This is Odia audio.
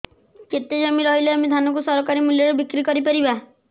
କେତେ ଜମି ରହିଲେ ଆମେ ଧାନ କୁ ସରକାରୀ ମୂଲ୍ଯରେ ବିକ୍ରି କରିପାରିବା